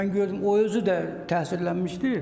Yəni ki, mən gördüm, o özü də təsirlənmişdi.